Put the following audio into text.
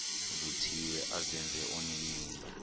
vuthiwe azenze onenimba